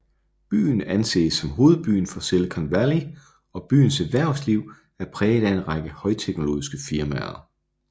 Byen anses som hovedbyen for Silicon Valley og byens erhvervsliv er præget af en række højteknologiske firmaer